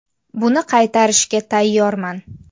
Buni qaytarishga tayyorman.